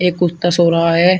एक कुत्ता सो रहा है।